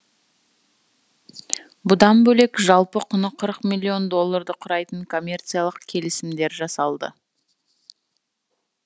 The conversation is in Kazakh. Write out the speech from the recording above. бұдан бөлек жалпы құны қырық миллион долларды құрайтын коммерциялық келісімдер жасалды